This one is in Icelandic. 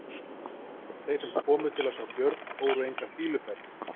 Þeir sem komu til að sjá Björn fóru enga fýluferð.